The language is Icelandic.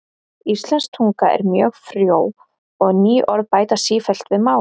Íslensk tunga er mjög frjó og ný orð bætast sífellt við málið.